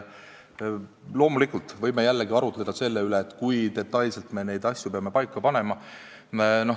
Loomulikult, me võime jällegi arutleda selle üle, kui detailselt me neid asju peame paika panema.